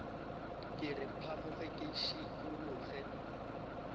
re ke phamoge ke šikologe